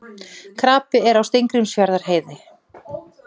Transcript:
Krapi er á Steingrímsfjarðarheiði